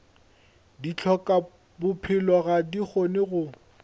dihlokabophelo ga di kgone go